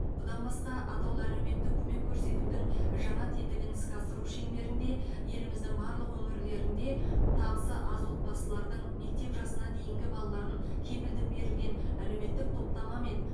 бұдан басқа атаулы әлеуметтік көмек көрсетудің жаңа тетігін іске асыру шеңберінде еліміздің барлық өңірлерінде табысы аз отбасылардың мектеп жасына дейінгі балаларын кепілдік берілген әлеуметтік топтамамен